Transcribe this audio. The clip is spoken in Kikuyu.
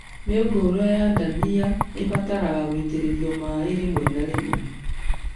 Mĩũngũrwa ya ndania ĩbataraga gũitĩrĩrio maĩ rĩmwe na rĩmwe